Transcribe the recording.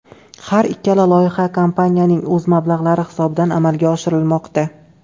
Har ikkala loyiha kompaniyaning o‘z mablag‘lari hisobidan amalga oshirilmoqda.